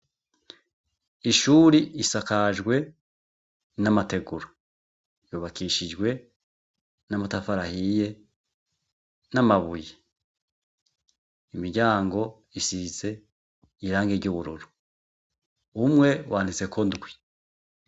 Ishuri isakajwe n'amateguru yubakishijwe n'amatafarahiye n'amabuye imiryango isize irange ry'ubururu umwe wanitseko ndwi.